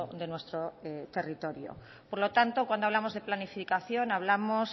de nuestro territorios por lo tanto cuando hablamos de planificación hablamos